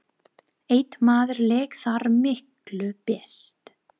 Einn maður lék þar miklu best.